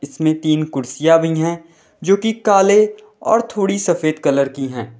इसमें तीन कुर्सियां भी हैं जो कि काले और थोड़ी सफेद कलर की है।